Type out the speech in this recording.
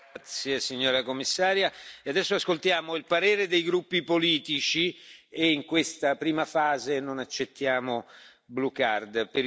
Grazie Signora Commissaria, e adesso ascoltiamo il parere dei gruppi politici e, in questa prima fase, non accettiamo blue card.